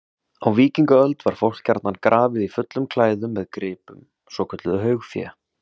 Á víkingaöld var fólk gjarnan grafið í fullum klæðum með gripum, svokölluðu haugfé.